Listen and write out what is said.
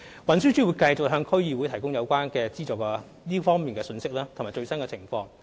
運輸署會繼續向區議會提供這方面的資助信息及匯報最新情況。